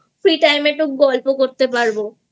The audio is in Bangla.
Free Time একটু গল্প করতে পারব।